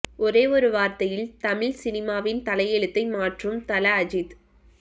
ஒரே ஒரு வார்த்தையில் தமிழ் சினிமாவின் தலையெழுத்தை மாற்றும் தல அஜித்